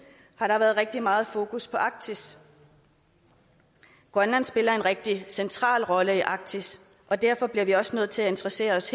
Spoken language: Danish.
har der været rigtig meget fokus på arktis grønland spiller en rigtig central rolle i arktis og derfor bliver vi også herfra nødt til at interessere os